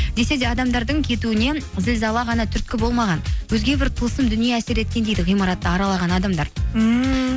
десе де адамдардың кетуіне зілзала ғана түрткі болмаған өзге бір тылсым дүние әсер еткен дейді ғимаратты аралаған адамдар ммм